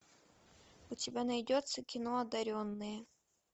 у тебя найдется кино одаренные